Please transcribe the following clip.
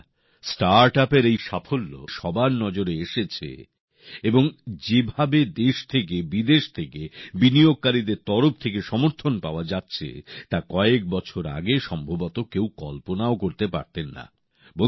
বন্ধুরা স্টার্টআপের এই সাফল্যের ফলে সবার নজরে এসেছে এবং যেভাবে দেশ থেকে বিদেশ থেকে বিনিয়োগকারীদের তরফ থেকে সমর্থন পাওয়া যাচ্ছে তা কয়েকবছর আগে সম্ভবত কেউ কল্পনাও করতে পারতেন না